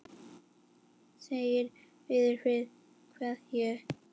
Siggi biður fyrir kveðju.